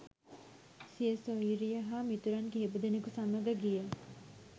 සිය සොයුරිය හා මිතුරන් කිහිපදෙනෙකු සමග ගිය